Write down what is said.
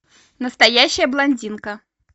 настоящая блондинка